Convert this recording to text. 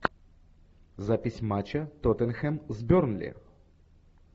запись матча тоттенхэм с бернли